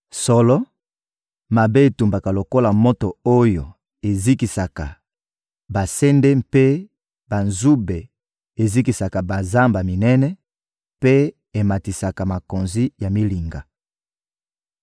Solo, mabe etumbaka lokola moto oyo ezikisaka basende mpe banzube, ezikisaka bazamba minene mpe ematisaka makonzi ya milinga.